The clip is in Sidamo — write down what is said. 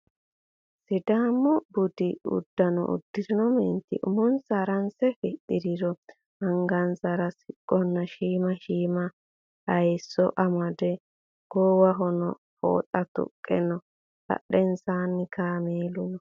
Sidaamu budi uddano uddirino meenti uumonsa haranse fixxirinori angansara siqqona shiima shiima hayiisso amade goowahono fooxa tuqqe no. Badheensaanni kaamelu no.